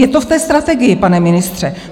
Je to v té Strategii, pane ministře.